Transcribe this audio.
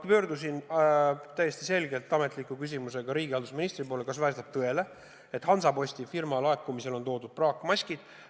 Ma pöördusin riigihalduse ministri poole täiesti ametliku küsimusega, kas vastab tõele, et Hansaposti firma on toimetanud meile praakmaskid.